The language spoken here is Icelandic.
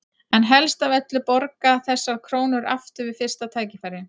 En helst af öllu borga þessar krónur aftur við fyrsta tækifæri.